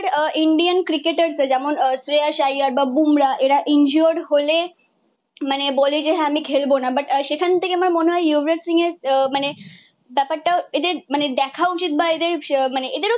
Indian ক্রিকেটারদের যেমন শ্রেয়াস আইয়ার বা বুমরাহ এরা ইনজুরড হলে বলে যে, হ্যাঁ আমি খেলবো না বাট সেখান থেকে আমার মনে হয় যুবরাজ সিং এর আহ মানে ব্যাপারটা এদের মানে দেখা উচিত বা এদের মানে এদেরও